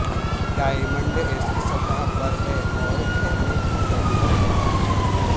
diamond ایسک سطح پر ہے اور گھیرنے کی ضرورت نہیں ہے